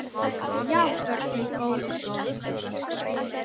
Já, börnin góð.